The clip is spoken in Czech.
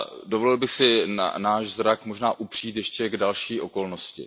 Dovolil bych si náš zrak možná upřít ještě k další okolnosti.